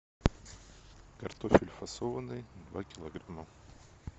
картофель фасованный два килограмма